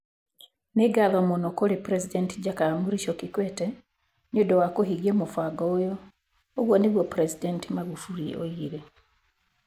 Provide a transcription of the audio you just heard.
Nĩ ngatho mũno kũrĩ President Jakaya Mrisho Kikwete nĩ ũndũ wa kũhingia mũbango ũyũ", ũguo nĩguo President Magufuli oigire.